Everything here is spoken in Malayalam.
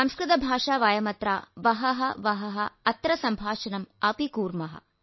സംസ്കൃത ഭാഷാ വയമത്ര വഹഃ വഹഃ അത്ര സംഭാഷണം അപി കുർമഃ